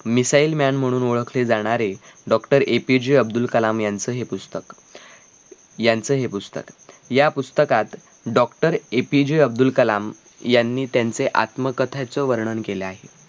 Missile man म्हणून ओळखले जाणारे doctor A. P. J. Abdul Kalam यांचं हे पुस्तक यांचं हे पुस्तक. या पुस्तकात A. P. J. Abdul Kalam यांनी त्यांचे आत्मकथांचे वर्णन केले आहे